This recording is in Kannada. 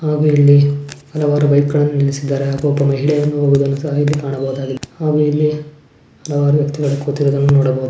ಹಾಗೂ ಇಲ್ಲಿ ಹಲವಾರು ಬೈಕ್ಗಳನ್ನು ನಿಲ್ಲಿಸಿದ್ದಾರೇ ಹಾಗೂ ಒಬ್ಬ ಮಹಿಳೆಯನ್ನು ಹೋಗುವುದನ್ನು ಸಹ ಇಲ್ಲಿ ಕಾಣಬಹುದಾಗಿದೆ ಹಾಗೂ ಇಲ್ಲ ಹಲವಾರು ವ್ಯಕ್ತಿಗಳು ಕೂತಿರುವುದನ್ನು ನೋಡಬಹುದು.